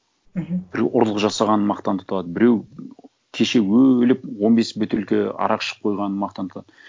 мхм бір ұрлық жасағанын мақтан тұтады біреу кеше өліп он бес бөтелке арақ ішіп қойғанын мақтан тұтады